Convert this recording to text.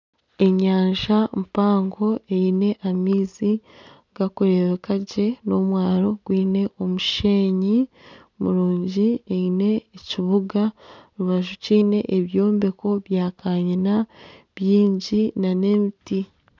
Enyanja mpango eine amaizi garikureebeka gye n'omwaro gwine omusheenyi murungi eine ekibuga omu rubaju kiine ebyombeko bya kanyiina bingi nana emiti